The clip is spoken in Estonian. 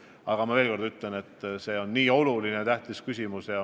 Ma kinnitan veel kord, et see on ülioluline küsimus.